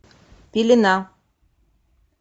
пелена